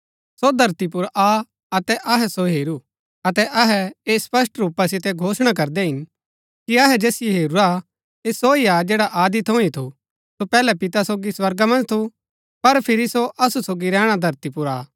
सो धरती पुर आ अतै अहै सो हेरू अतै अहै ऐह स्पष्ट रूपा सितै घोषणा करदै हिन कि अहै जैसिओ हेरूरा हा ऐह सो ही जैड़ा आदि थऊँ ही थू सो पैहलै पिता सोगी स्वर्गा मन्ज थू पर फिरी सो असु सोगी रैहणा धरती पुर आ